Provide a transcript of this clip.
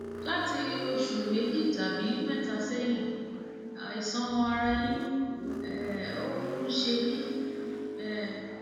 láti oṣù méjì tàbí mẹta sẹyìn àìsàn ara yíyún um ń um ṣe mí um